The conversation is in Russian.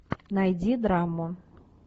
найди драму